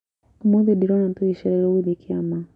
Ũmũthĩ nsdĩroona tugĩcrerewo gũthiĩ kĩama